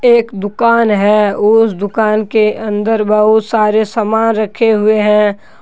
एक दुकान है उस दुकान के अंदर बहुत सारे समान रखे हुए हैं।